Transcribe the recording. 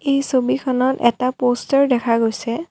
এই ছবিখনত এটা প'ষ্টাৰ দেখা গৈছে।